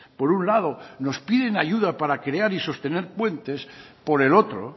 por un lado nos piden ayuda para crear y sostener puentes por el otro